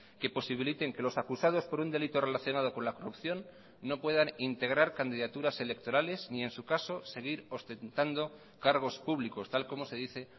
que posibiliten que los acusados por un delito relacionado con la corrupción no puedan integrar candidaturas electorales ni en su caso seguir ostentando cargos públicos tal como se dice